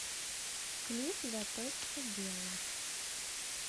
клип заточка белый